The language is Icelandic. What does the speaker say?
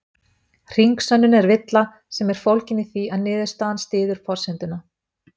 Hringsönnun er villa sem er fólgin í því að niðurstaðan styður forsenduna.